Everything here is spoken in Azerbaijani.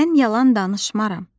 Mən yalan danışmaram.